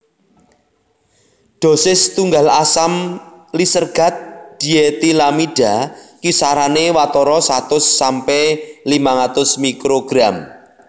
Dhosis tunggal asam lisergat dietilamida kisarané watara satus sampe limang atus mikrogram